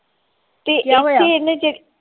ਤੇ ਇਥੇ ਏਨ੍ਹੇ